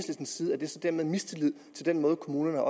side er der så dermed mistillid til den måde kommunerne